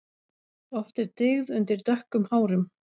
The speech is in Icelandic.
Oft er dyggð undir dökkum hárum.